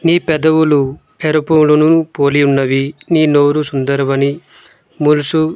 నీ పెదవులు ఎరుపులు ను పోలివున్నవి నీ నోరు సుందరవని ముర్సు--